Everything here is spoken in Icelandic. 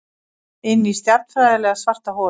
Inní stjarnfræðilega svarta holu.